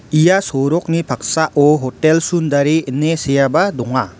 ia sorokni paksao hotel sundare ine seaba donga.